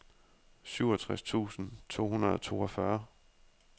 syvogtres tusind to hundrede og toogfyrre